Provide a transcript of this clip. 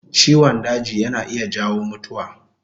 Ciwon daji yana iya jawo mutuwa